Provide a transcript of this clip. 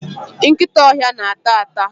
nkịta ọhịa na-ata ata